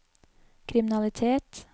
kriminalitet